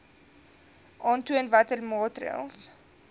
aantoon watter maatreëls